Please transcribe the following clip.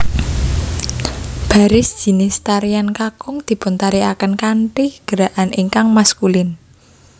Baris jinis tarian kakung dipuntarikaken kanthi gerakan ingkang maskulin